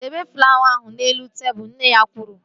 Debe flawa ahụ n'elu tebụl! Nne ya kwuru